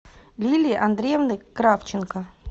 лилии андреевны кравченко